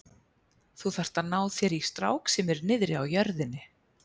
Þú þarft að ná þér í strák sem er niðri á jörðinni.